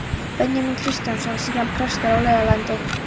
Benjamín Kristjánsson, síðar prestur á Laugalandi.